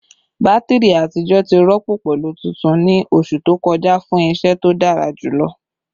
Batiri atijọ ti rọpo pẹlu tuntun ni oṣu to kọja fun iṣẹ to dara julọ